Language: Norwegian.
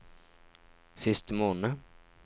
siste måned